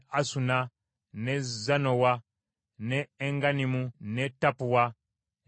n’e Zanowa n’e Engannimu, n’e Tappua, n’e Enamu,